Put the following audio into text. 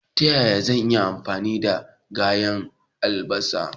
Ta yaya zan iya amfani da ganyen albasa?